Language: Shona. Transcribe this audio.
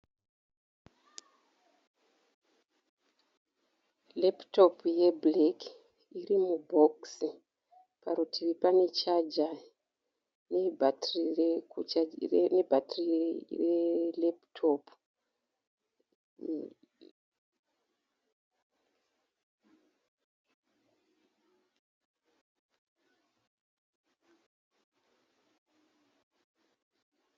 Repitopu yebhureki. Iri mubhokisi. Parutivi pane chaja nebhatiri rerepitopu.